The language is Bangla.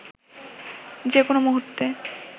যে কোনও মুহূর্তে